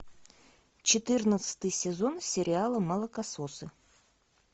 четырнадцатый сезон сериала молокососы